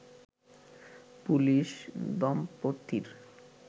police দম্পতির